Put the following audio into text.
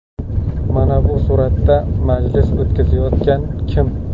Mana bu suratda majlis o‘tkazayotgan kim?